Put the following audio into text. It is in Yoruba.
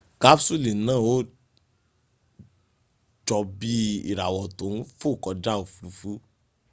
kapsuli naa a jo bii irawo to n fo koja ofurufu